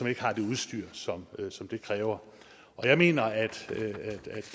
ikke har det udstyr som som det kræver jeg mener